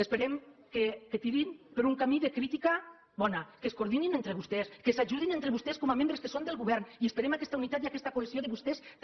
esperem que tirin per un camí de crítica bona que es coordinin entre vostès que s’ajudin entre vostès com a membres que són del govern i esperem aquesta unitat i aquesta cohesió de vostès també